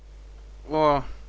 о